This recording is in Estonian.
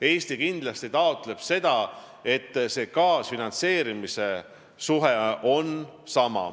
Eesti kindlasti taotleb seda, et kaasfinantseerimissuhe jääks samaks.